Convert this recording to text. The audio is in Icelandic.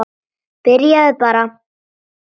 Byrjaðu bara.